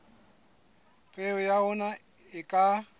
peo ya ona e ka